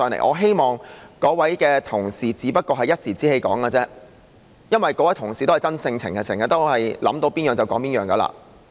我希望那位同事這樣說只是一時之氣，因為那位同事是個真性情的人，經常都是想到甚麼便說甚麼。